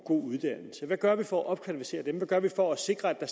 god uddannelse hvad gør vi for at opkvalificere dem hvad gør vi for at sikre at